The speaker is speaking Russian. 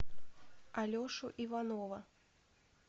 алешу иванова